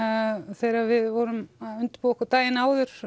þegar við vorum að undirbúa okkur daginn áður